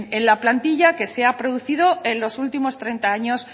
en la plantilla que se ha producido en los últimos treinta años